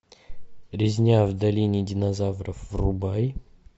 резня в долине динозавров врубай